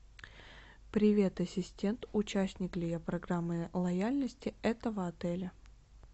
привет ассистент участник ли я программы лояльности этого отеля